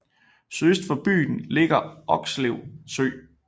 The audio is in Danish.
Sydøst for byen ligger Okslev Sø